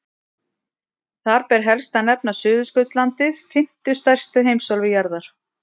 Þar ber helst að nefna Suðurskautslandið, fimmtu stærstu heimsálfu jarðar.